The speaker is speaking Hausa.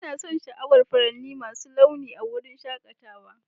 Ina son sha'awar furanni masu launi a wurin shakatawa.